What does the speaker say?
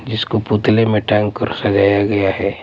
जिसको पुतले में टांग कर सजाया गया हैं ।